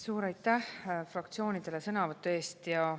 Suur aitäh fraktsioonidele sõnavõtu eest!